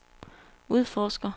udforsker